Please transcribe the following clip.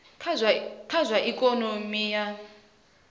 kha zwa ikonomi kha zwa